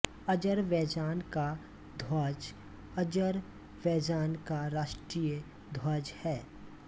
Azerbaijan का ध्वज Azerbaijan का राष्ट्रीय ध्वज है